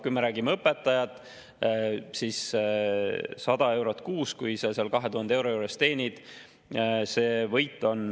Kui me räägime õpetajatest, siis kui ta teenib umbes 2000 eurot, on tal kuus 100 eurot võitu.